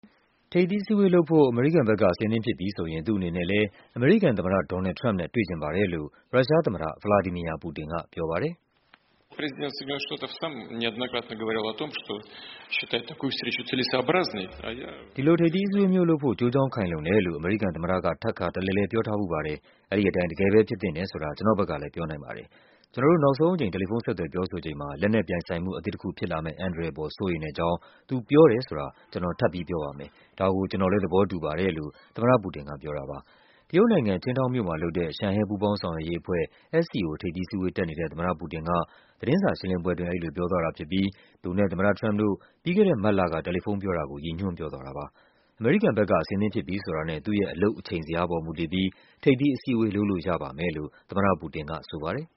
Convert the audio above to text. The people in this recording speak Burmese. ထိပ်သီးအစည်းအဝေးလုပ်ဖို့ အမေရိကန်ဘက်က အဆင်သင့်ဖြစ်ပြီဆိုရင် သူ့အနေနဲ့လည်း အမေရိကန်သမ္မတ ဒေါ်နယ်လ်ဒ် ထရမ့်ပ်နဲ့ တွေ့ချင်ပါတယ်လို့ ရုရှားသမ္မတ ဗလာဒီမီယာ ပူတင်က ပြောပါတယ်။ “ဒီလို ထိပ်သီးအစည်းအဝေးမျိုးလုပ်ဖို့ ကျိုးကြောင်းခိုင်လုံတယ်လို့ အမေရိကန်သမ္မတက ထပ်ခါတလဲလဲ ပြောထားဖူးပါတယ်။ အဲဒီအတိုင်း တကယ်ပဲ ဖြစ်သင့်တယ်ဆိုတာ ကျနော့်ဘက်ကလည်း ပြောနိုင်ပါတယ်။ ကျနော်တို့ နောက်ဆုံးအကြိမ် တယ်လီဖုန်း ဆက်သွယ်ပြောဆိုချိန်မှာ လက်နက်ပြိုင်ဆိုင်မှု အသစ်တခုဖြစ်လာမယ့် အန္တရာယ်အပေါ် စိုးရိမ်တဲ့အကြောင်း သူ ပြောတယ်ဆိုတာ ကျနော် ထပ်ပြီး ပြောပါမယ်။ ဒါကို ကျနော်လည်း သဘောတူပါတယ်။” လို့ သမ္မတပူတင်က ပြောပါတယ်။ တရုတ်နိုင်ငံ၊ Qingdao မြို့မှာလုပ်တဲ့ ရှန်ဟဲ ပူးပေါင်းဆောင်ရွက်ရေးအဖွဲ့ SCO ထိပ်သီးအစည်းအဝေးတက်နေတဲ့ သမ္မတပူတင် က သတင်းစာရှင်းလင်းပွဲအတွင်း အဲဒီလိုပြောသွားတာဖြစ်ပြီး သူနဲ့ သမ္မတထရမ့်ပ်တို့ ပြီးခဲ့တဲ့မတ်လက တယ်လီဖုန်းပြောတာကို ရည်ညွှန်းပြောသွားတာဖြစ်ပါတယ်။ အမေရိကန်ဘက်က အဆင်သင့်ဖြစ်ပြီဆိုတာနဲ့ သူ့ရဲ့ အလုပ်အချိန်ဇယားပေါ် မူတည်ပြီး ထိပ်သီးအစည်းအဝေး လုပ်လို့ရပါမယ်လို့ သမ္မတပူတင်ကဆိုပါတယ်